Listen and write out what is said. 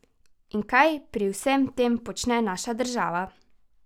In kaj pri vsem tem počne naša država?